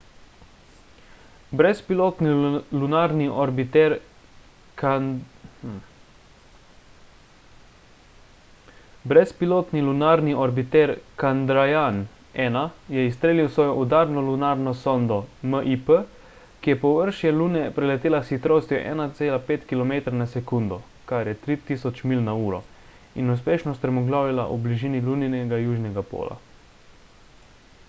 brezpilotni lunarni orbiter chandrayaan-1 je izstrelil svojo udarno lunarno sondo mip ki je površje lune preletela s hitrostjo 1,5 kilometra na sekundo 3000 milj/uro in uspešno strmoglavila v bližini luninega južnega pola